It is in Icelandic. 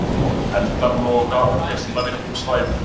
Eldar loga á geislavirkum svæðum